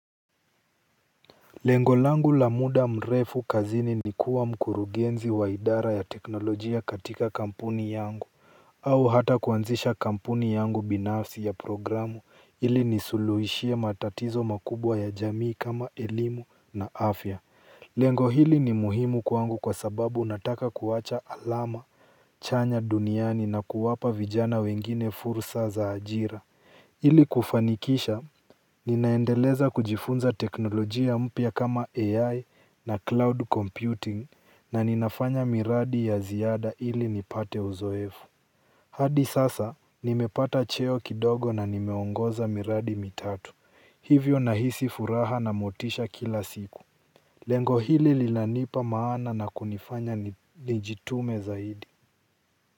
Lengo langu la muda mrefu kazini ni kuwa mkurugenzi wa idara ya teknolojia katika kampuni yangu au hata kuanzisha kampuni yangu binafsi ya programu ili nisuluhishie matatizo makubwa ya jamii kama elimu na afya lengo hili ni muhimu kwangu kwa sababu nataka kuwacha alama chanya duniani na kuwapa vijana wengine fursa za ajira. Ili kufanikisha ninaendeleza kujifunza teknolojia mpya kama AI na cloud computing na ninafanya miradi ya ziada ili nipate uzoefu. Hadi sasa, nimepata cheo kidogo na nimeongoza miradi mitatu. Hivyo nahisi furaha na motisha kila siku. Lengo hili lilanipa maana na kunifanya nijitume zaidi.